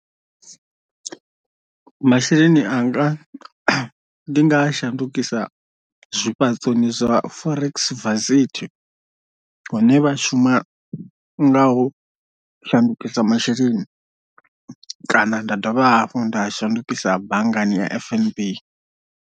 Masheleni anga ndi nga a shandukisa zwifhaṱoni zwa forex varsity hune vha shuma nga ho shandukisa masheleni kana nda dovha hafhu nda a shandukisa banngani ya fnb.